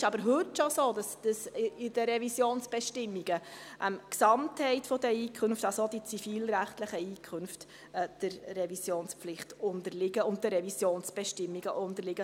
Es ist aber heute schon so, dass in den Revisionsbestimmungen die Gesamtheit der Einkünfte, also auch die zivilrechtlichen Einkünfte, der Revisionspflicht und den Revisionsbestimmungen unterliegen.